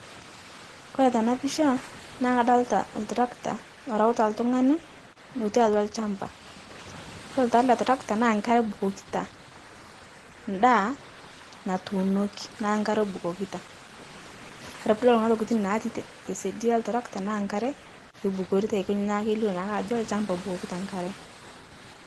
Kore tena picha naah kadolita iltrakta orewuta iltung'ani, lotii atua ilchampa, iyolo taah ele trakta naa inkare ebukokita, indaa natuunoki naa inkare ebukokita ore pee inidol kuna tokiting' naati tesiadi oltrakta naa inkare eibukorita aikonji naa kelio naake ajo ilchamba ebukokita enkare